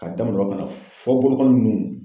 Ka daminɛ o la fɔ boloknli nunnu